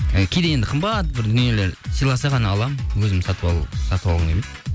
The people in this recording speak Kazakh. і кейде енді қымбат бір дүниелер сыйласа ғана аламын өзім сатып алғым келмейді